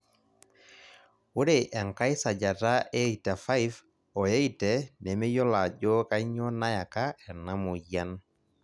ore enkae sajata e 85, o 80 nemeyiolo ajo kainyioo nayak a ena moyian.